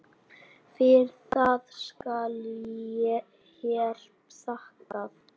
Fyrir það skal hér þakkað.